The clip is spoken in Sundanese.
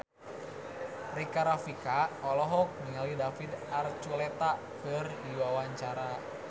Rika Rafika olohok ningali David Archuletta keur diwawancara